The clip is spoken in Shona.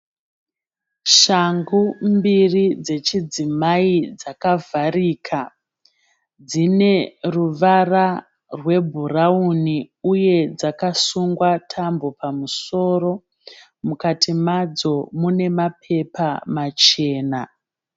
Shangu mbiri dzechidzimai dzakavharika. Dzine ruvara rwebhurawuni uye dzakasungwa tambo pamusoro. Mukati madzo mune mapepa machena.